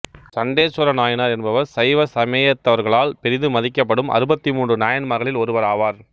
சண்டேசுவர நாயனார் என்பவர் சைவ சமயத்தவர்களால் பெரிதும் மதிக்கப்படும் அறுபத்து மூன்று நாயன்மார்களில் ஒருவர் ஆவார்